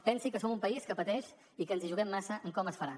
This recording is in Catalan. pensi que som un país que pateix i que ens hi juguem massa en com es farà